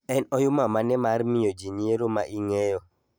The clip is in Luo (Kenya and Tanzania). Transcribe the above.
En oyuma mane mar miyo jinyiero maing'eyo